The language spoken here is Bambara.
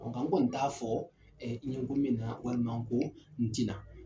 Ɔ nka n kɔni t'a fɔ nko na bɛna , walima ko ntina.